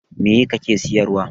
Meye kake siyarwa?